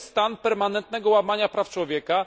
To jest stan permanentnego łamania praw człowieka.